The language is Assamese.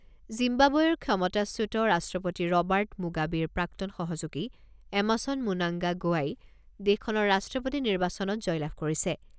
জিম্বাবৱেৰ ক্ষমতাচ্যুত ৰাষ্ট্ৰপতি ৰবাৰ্ট মুগাবেৰ প্ৰাক্তন সহযোগী এমাছন মুনাংগা গোৱাই দেশখনৰ ৰাষ্ট্ৰপতি নিৰ্বাচনত জয়লাভ কৰিছে।